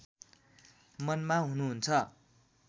मनमा हुनुहुन्छ